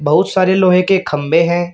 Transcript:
बहुत सारे लोहे के खंभे हैं।